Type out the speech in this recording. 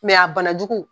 a banajugu